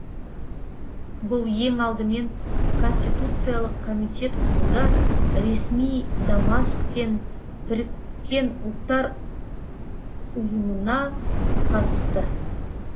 бұл ең алдымен конституциялық комитет құруда ресми дамаск пен біріккен ұлттар ұйымына қатысты